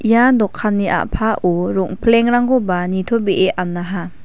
ia dokanni a·pao rongplengrangkoba nitobee anaha.